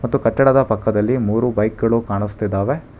ಮತ್ತು ಕಟ್ಟಡದ ಪಕ್ಕದಲ್ಲಿ ಮೂರು ಬೈಕ್ ಗಳು ಕಾಣಿಸ್ತಿದವೆ.